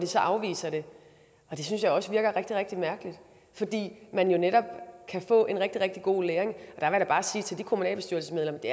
så afviser det og det synes jeg også virker rigtig rigtig mærkeligt fordi man jo netop kan få en rigtig god læring og jeg da bare sige til de kommunalbestyrelsesmedlemmer at det